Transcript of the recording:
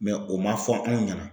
o man fɔ anw ɲɛna.